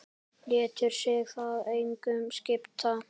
Lætur sig það engu skipta.